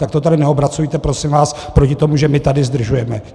Tak to tady neobracejte prosím vás proti tomu, že my tady zdržujeme.